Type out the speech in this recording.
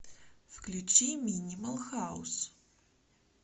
включи минимал хаус